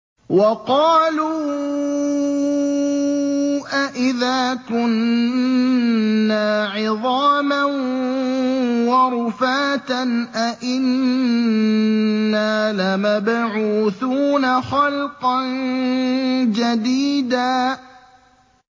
وَقَالُوا أَإِذَا كُنَّا عِظَامًا وَرُفَاتًا أَإِنَّا لَمَبْعُوثُونَ خَلْقًا جَدِيدًا